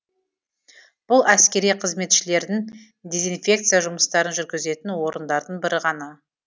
бұл әскери қызметшілердің дезинфекция жұмыстарын жүргізетін орындардың бірі ғана